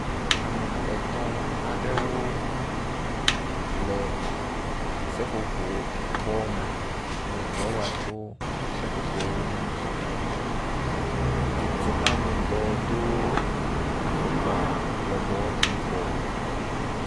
Ame etɔ̃ aɖewo le seƒoƒo bɔ me le dɔ wa tso seƒoƒowo ŋu. Titinametɔ do afɔ lɔbɔ yibɔ.